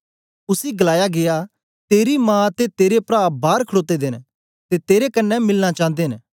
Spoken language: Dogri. उसी गलाया गीया तेरी मा ते तेरे प्रा बार खड़ोते दे न ते तेरे कन्ने मिलना चांदे न